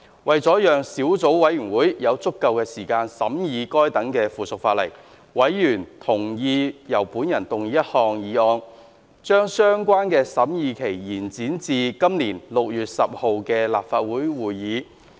為了讓小組委員會有足夠時間審議該等附屬法例，委員同意由我動議一項議案，將相關的審議期延展至本年6月10日的立法會會議。